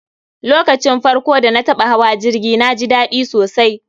lokacin farko dana taba hawa jirgi naji dadi sosai